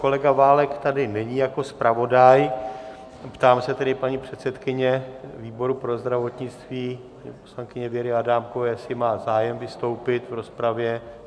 Kolega Válek tady není jako zpravodaj, ptám se tedy paní předsedkyně výboru pro zdravotnictví, paní poslankyně Věry Adámkové, jestli má zájem vystoupit v rozpravě.